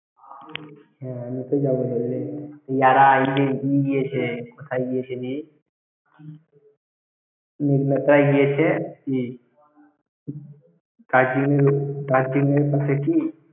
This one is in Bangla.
হ্যাঁ আমি তো যাবই ।